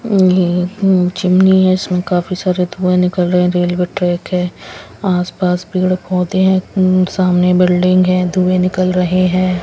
हम्म चिमनी है इसमें काफी सारे धुए निकल रहे हैं रेलवे ट्रैक है आसपास पेड़ पौधे हैं हम्म सामने बिल्डिंग हैं धुए निकल रहे हैं.